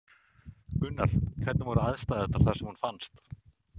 Gunnar: Hvernig voru aðstæður þar sem hún fannst?